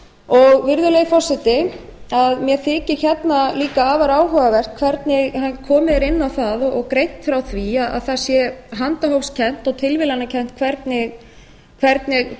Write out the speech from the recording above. virðulegi forseti mér þykir hérna líka afar áhugavert hvernig komið er inn á og greint frá því að það sé handahófskennt og tilviljanakennt hvernig